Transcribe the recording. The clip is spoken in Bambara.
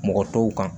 Mɔgɔ tɔw kan